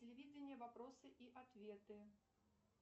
телевидение вопросы и ответы